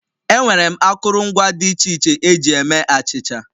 Enwere m akụrụngwa dị iche iche eji eme achịcha